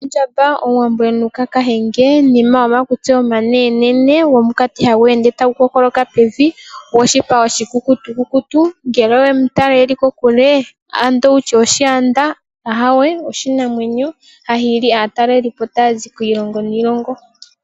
Ondjamba omuwambo emu Luka kahenge nima gwomakutsi omanene, gomukati hagu ende tagu kookoloka pevi goshipa oshikukutu kutu ngele wemu tala eli kokule and wutye oshaanda ,aawe oshinamwenyo hahili aataleli po taa zi kiilongo niilongo.